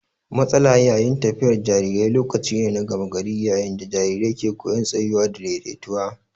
Matsala yayin tafiyar jarirai lokaci ne na gama gari yayin da jariran ke koyan tsayuwa da daidaituwa.